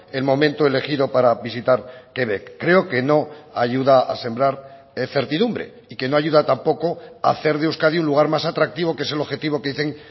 el momento elegido para visitar quebec creo que no ayuda a sembrar certidumbre y que no ayuda tampoco a hacer de euskadi un lugar más atractivo que es el objetivo que dicen